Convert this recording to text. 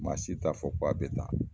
Ma si taa fɔ k'a bɛ tan